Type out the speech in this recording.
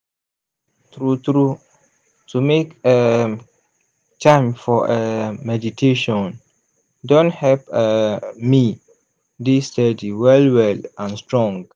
true true to make um time for um meditation don help um me dey steady well well and strong.